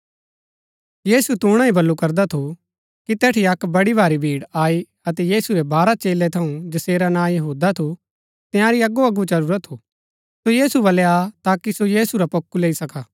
यीशु तूणा बल्लू ही करदा थू कि तैठी अक्क बड़ी भारी भीड़ आई अतै यीशु रै बाहरा चेलै थऊँ जैसेरा नां यहूदा थू तंयारी अगोअगो चलुरा थू सो यीशु बल्लै आ ताकि सो यीशु रा पोक्कु लैई सका